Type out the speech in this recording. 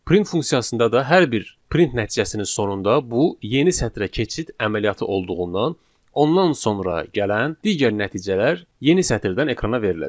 Print funksiyasında da hər bir print nəticəsinin sonunda bu yeni sətrə keçid əməliyyatı olduğundan ondan sonra gələn digər nəticələr yeni sətirdən ekrana veriləcək.